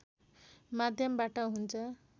माध्यमबाट हुन्छ